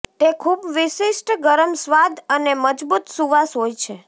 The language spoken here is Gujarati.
તે ખૂબ વિશિષ્ટ ગરમ સ્વાદ અને મજબૂત સુવાસ હોય છે